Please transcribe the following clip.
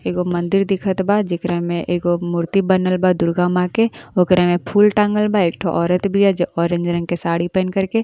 एगो मंदिर दिखत बा जेकरा में एगो मूर्ति बनल बा दुर्गा माँ के। ओकरा में फूल टाँगल बा। एक ठो औरत बिया जे ऑरेंज रंग के साड़ी पहिन कर के।